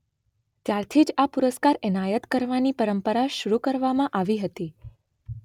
ત્યારથી જ આ પુરસ્કાર એનાયત કરવાની પરંપરા શરૂ કરવામાં આવી હતી